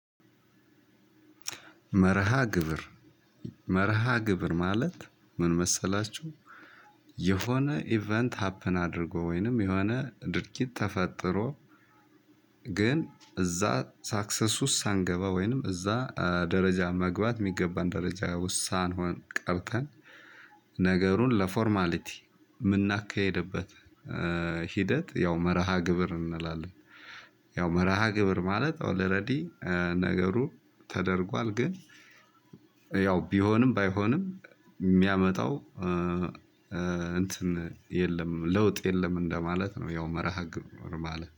መርሃ ግብር መርሃ ግብር ማለት ምን መሰላችሁ? የሆነ ኢቨንት ሀፕን አድርጎ ወይንም የሆነ ድርጊት ተፈጥሮ። ግን እዛ ሳክሰስ ውስጥ ሳንገባ ወይንም እዛ ደረጃ መግባት የሚገባን ደረጃ ውስጥ ቀርተን። ነገሩን ለፎርማሊቲ የምናካሂድበት ሂደት ያው መርሃ ግብር እንላለን። ያው መርሃ ግብር ማለት ኦል ለረዲ ነገሩ ተደርጓል። ግን ያው ቢሆንም ባይሆንም የሚያመጣው እንትን የለም ለውጥ የለም እንደማለት ነው። ያው መርሃ ግብር ማለት